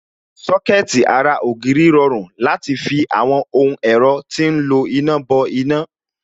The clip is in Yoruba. Sọ́kẹ̀tì ara ògiri rọrùn láti fi àwọn ohun ẹ̀rọ tí ń lo iná bọ iná